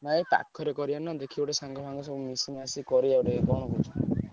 ନାଇ ଏ ପାଖରେ କରିଆ ନା ଦେଖି ଗୋଟେ ସାଙ୍ଗମାନଙ୍କ ସହ ମିଶିମାଶି କରିଆ ଗୋଟେ କଣ କହୁଛ?